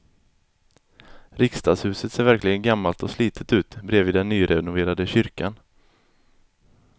Riksdagshuset ser verkligen gammalt och slitet ut bredvid den nyrenoverade kyrkan.